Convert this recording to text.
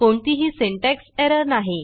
कोणतीही syntax error नाही